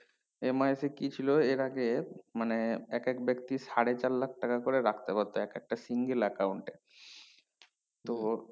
MIS এ কি ছিল এর আগে এক এক বেক্তি সাড়ে চার লাখ টাকা করে রাখতে পারতো এক একটা single account এ তো